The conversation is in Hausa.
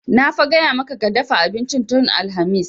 Na fa gaya maka ka dafa abincin tun alhamis!